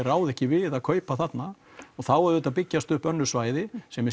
ráða ekki við að kaupa þarna og þá auðvitað byggjast upp önnur svæði sem